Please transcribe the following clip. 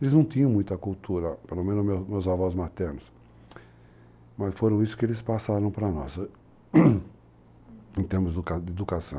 Eles não tinham muita cultura, pelo menos meus avós maternos, mas foram isso que eles passaram para nós, em termos de educação.